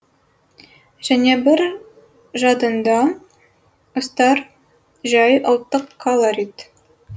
және бір жадыңда ұстар жай ұлттық калорит